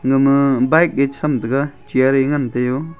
nama bike e cha tham taga chair ngan tai o.